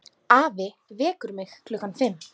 Afi vekur mig klukkan fimm.